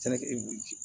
Sɛnɛ kɛ